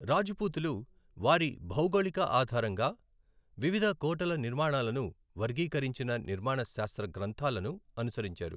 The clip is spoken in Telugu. రాజపూతులు వారి భౌగోళిక ఆధారంగా వివిధ కోటల నిర్మాణాలను వర్గీకరించిన నిర్మాణ శాస్త్ర గ్రంథాలను అనుసరించారు.